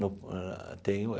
No ah tem o é.